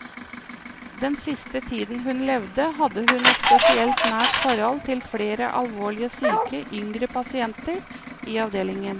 Den siste tiden hun levde, hadde hun et spesielt nært forhold til flere alvorlig syke yngre pasienter i avdelingen.